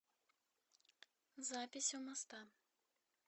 запись у моста